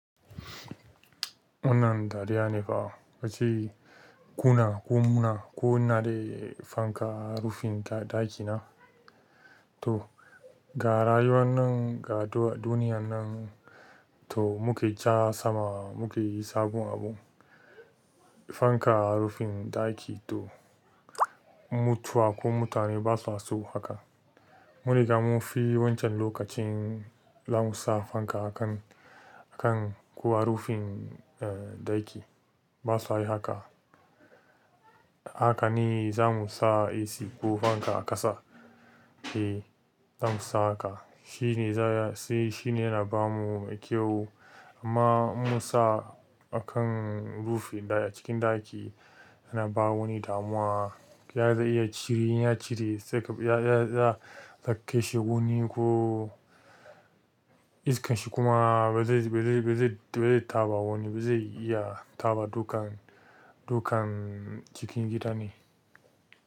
Wannan dariya ne fa, wace kuna ko muna ko ina da fanka a rufin ɗaki na. To ga rayuwar nan ga duniyan nan, to mu kai ja sama mu ka yi sabon abu. Fanka a rufin ɗaki to, mutuwa ko mutane basa son haka. Mun riga mun fi wancan lokacin za mu sa fanka a kan, a kan ko a rufin ɗaki ba su yi haka. Haka ne za mu sa AC ko fanka a ƙasa. E, za bamu so haka. Shi ne za ya, sai shi ne yana ba mu mai kyau, amma in mun sa a kan rufin ɗaki a cikin ɗaki yana ba wani damuwa. Ya iya cire, in ya cire sai ya, a kashe wani ko iskan shi kuma ba zai, ba zai, ba zai, ba zai taɓa wani, ba zai iya taɓa dukan, dukan cikin gida ne.